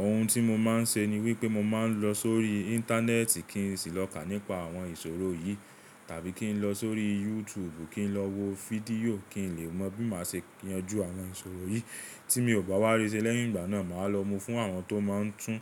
Ohun tí mo máa ń ṣe ni wípé mo máa ń lọ sórí Íńtánẹ́ẹ̀tì kí n sì lọ́kà nípa àwọn ìṣòro yìí tàbí kí n lọ sórí YouTube kí n lọ wo fídíò kí n lè mọ bí máa ṣe yanjú àwọn ìṣòro yìí tí mi ò bá wárí ṣe lẹ́yìn ìgbà náà, màá lọ mú fún àwọn tó máa ń tún